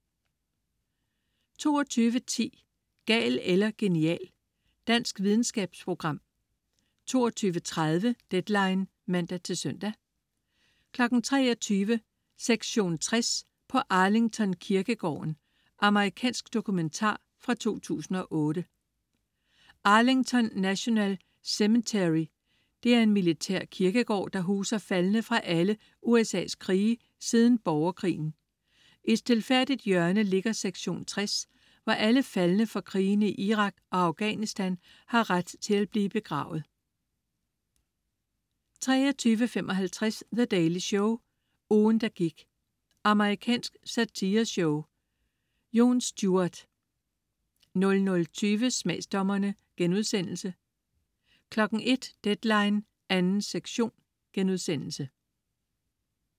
22.10 Gal eller genial. Dansk videnskabsprogram 22.30 Deadline (man-søn) 23.00 Sektion 60 på Arlington kirkegården. Amerikansk dokumentar fra 2008. Arlington National Cemetery er en militær kirkegård, som huser faldne fra alle USA's krige siden borgerkrigen. I et stilfærdigt hjørne ligger sektion 60, hvor alle faldne fra krigene i Irak og Afghanistan har ret til at blive begravet 23.55 The Daily Show. Ugen, der gik. Amerikansk satireshow. Jon Stewart 00.20 Smagsdommerne* 01.00 Deadline 2. sektion*